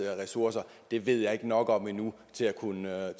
ressourcer ved jeg ikke nok om endnu til at kunne